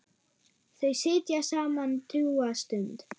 Þau sitja saman drjúga stund.